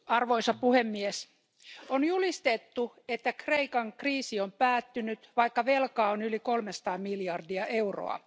Arvoisa puhemies, on julistettu, että Kreikan kriisi on päättynyt, vaikka velkaa on yli kolmesataa miljardia euroa.